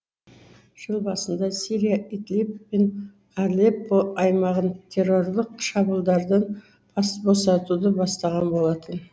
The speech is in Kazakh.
жыл басында сирия идлиб пен алеппо аймағын террорлық шабылдардан босатуды бастаған болатын